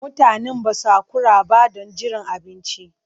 Mutanen ba su haƙura ba don jiran abinci.